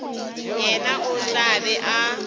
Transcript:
yena o tla be a